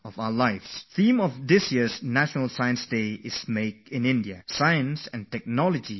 This year the theme for National Science Day is 'Make in India Science and Technologydriven Innovations'